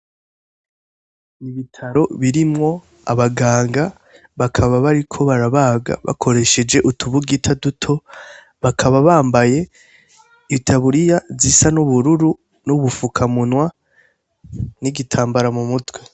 Ibitaro birimwo abaganga. Bakaba bariko barabaga bakoresheje utubugita duto. Bakaba bambaye itaburiya zisa n'ubururu n'ubufukamunwa, n'igitambara mu mutwe.